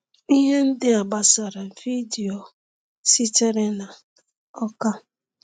Ihe ndị a gbasara vidiyo sitere na Awka.